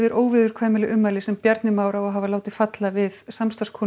óviðurkvæmileg ummæli sem Bjarni Már á að láta falla við